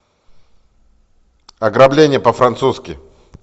ограбление по французски